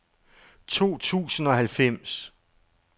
to tusind og halvfems